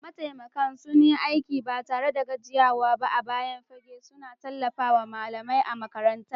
Mataimakan sun yi aiki ba tare da gajiyawa ba a bayan fage, suna tallafawa malamai a makarantar.